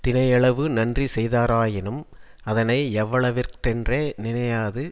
தினையளவு நன்றி செய்தாராயினும் அதனை யவ்வளவிற்றென்று நினையாது